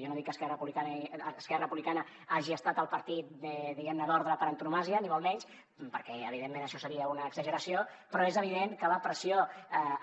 jo no dic que esquerra republicana hagi estat el partit diguemne d’ordre per antonomàsia ni molt menys perquè evidentment això seria una exageració però és evident que la pressió